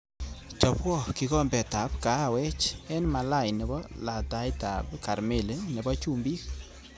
Chobwo kikombetav kahawej eng Malai nebo lataitab karmeli nebo chumbik